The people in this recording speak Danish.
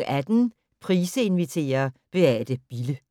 18:00: Price inviterer - Beate Bille